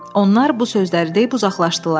Onlar bu sözləri deyib uzaqlaşdılar.